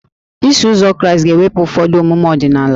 Iso Ụzọ Kraịst ga-ewepụ ụfọdụ omume ọdịnala